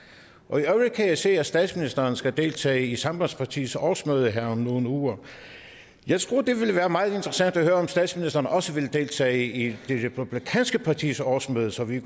øvrigt kan jeg se at statsministeren skal deltage i sambandspartiets årsmøde her om nogle uger jeg tror at det ville være meget interessant at høre om statsministeren også vil deltage i det republikanske partis årsmøde så vi